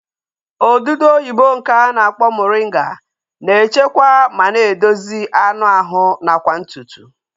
Odudu oyibo nke a na-akpọ moringa na-echekwa ma na-edozi anụ ahụ nakwa ntutu